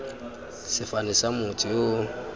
sefane sa motho yo o